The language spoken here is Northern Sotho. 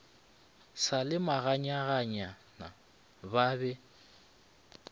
sa le meganyaganyana ba be